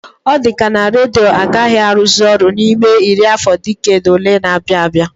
Ọ dịka na redio agaghị arụzị ọrụ n'ime iri afọ diked ole na-abịa abịa